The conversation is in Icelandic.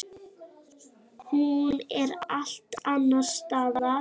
Hún er allt annars staðar.